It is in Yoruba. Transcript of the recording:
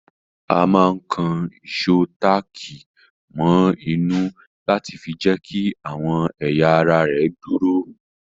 A máa ń kan ìsò táàkì mọ inú láti fi jẹ́kí àwọn ẹ̀yà ara ẹ dúró